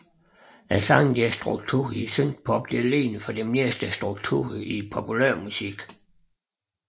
Sangenes struktur i synthpop ligner som oftest strukturen i populærmusik